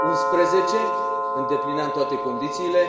2011. Îndeplineam toate condițiile.